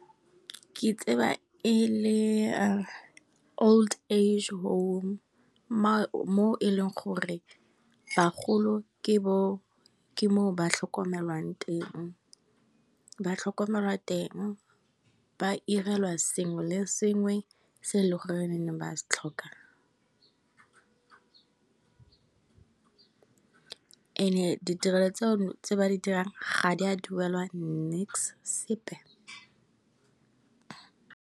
Ke tseba e le old age home mo e leng gore bagolo ke moo ba tlhokomelwang teng, ba irelwa sengwe le sengwe se e leng gore ba se tlhoka and ditirelo tse ba di dirang ga di a duelwa nix, sepe.